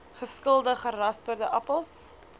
geskilde gerasperde appels